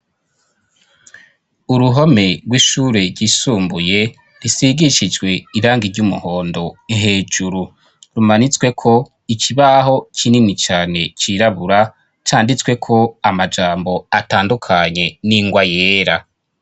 Uruhome rw'ishure ryisumbuye risigishijwe iranga ry'umuhondo hejuru. Rumanitsweko ikibaho kinini cane cirabura, canditsweko amajambo atandukanye n'ingwa yera.